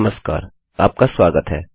नमस्कार आपका स्वागत है